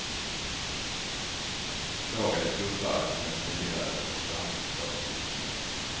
Lagen är tuffare än den tidigare konkurrenslagstiftningen.